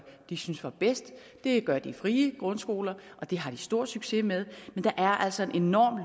de synes var bedst det gør de frie grundskoler og det har de stor succes med men der er altså en enorm